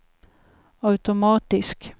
automatisk